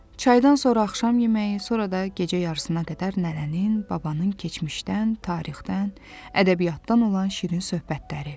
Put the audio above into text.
Çaydan sonra axşam yeməyi, sonra da gecə yarısına qədər nənənin, babanın keçmişdən, tarixdən, ədəbiyyatdan olan şirin söhbətləri.